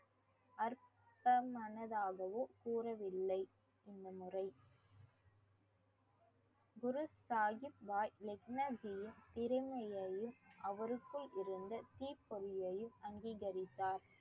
அற்பமனதாகவோ கூறவில்லை இந்த முறை குருசாஹிப் பாய் லெக்னஜியின் திறமையையும் அவருக்குள் இருந்த தீப்பொறியையும் அங்கீகரித்தார்